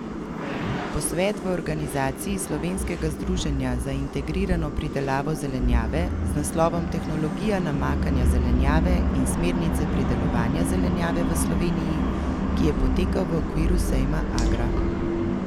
Posvet v organizaciji Slovenskega združenja za integrirano pridelavo zelenjave z naslovom Tehnologija namakanja zelenjave in smernice pridelovanja zelenjave v Sloveniji, ki je potekal v okviru sejma Agra.